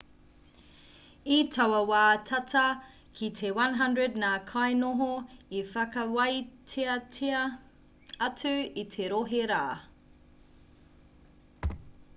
i taua wā tata ki te 100 ngā kainoho i whakawāteatia atu i te rohe rā